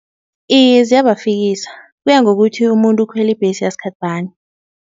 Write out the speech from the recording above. Iye ziyabafikisa, kuya ngokuthi umuntu ukhwele ibhesi yasikhathi bani.